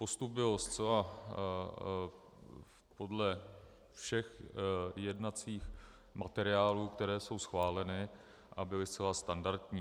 Postup byl zcela podle všech jednacích materiálů, které jsou schváleny a byly zcela standardní.